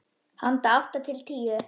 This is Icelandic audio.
Handa átta til tíu